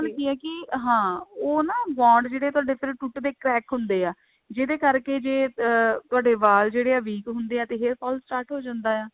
ਨਾਲ ਕਿ ਹੈ ਕਿ ਹਾਂ ਉਹ ਨਾ bond ਜਿਹੜੇ ਤੁਹਾਡੇ ਟੁੱਟ ਦੇ crack ਹੁੰਦੇ ਹੈ ਜਿਹਦੇ ਕਰਕੇ ਜੇ ਅਹ ਤੁਹਾਡੇ ਵਾਲ ਜਿਹੜੇ ਆ week ਹੁੰਦੇ ਆ ਤੇ hair fall start ਹੋ ਜਾਂਦਾ ਆ